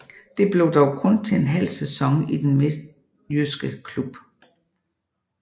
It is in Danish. Det blev dog kun til en halv sæson i den midtjyske klub